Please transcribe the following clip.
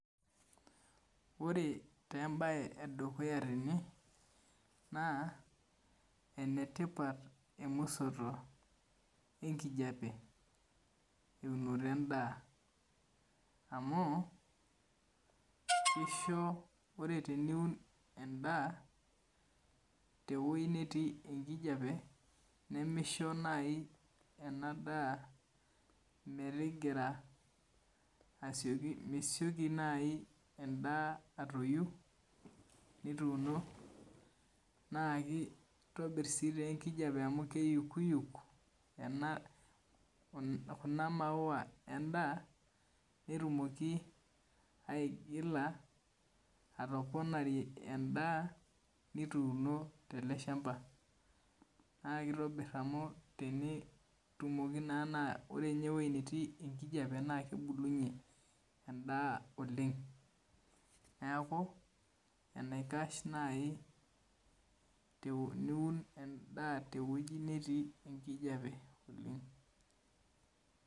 Ore taa embae edukuya tene naa enetipat emusoto enkijape teunoto endaa amu kisho ore teniun endaa tewuei netii enkijape nemisho naai ena daa metigira asioki, mesioki naai endaa atoyu nituuno. Naakitobir sii enkijape amu keyukuyuk kuna maua endaa netumoki aigila atoponarie endaa nituuno tele shamba naa kittobirr amu tenitumoki naa ore ninye ewuei netii enkijape naa kebulunye endaa oleng. Neeku enaikash naai teniun endaa tewueji netii enkijape oleng